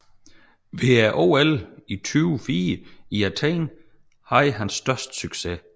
Ved OL 2004 i Athen havde han størst succes